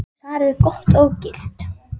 Hún tók svarið gott og gilt.